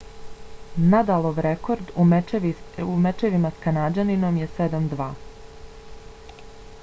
nadalov rekord u mečevima s kanađaninom je 7–2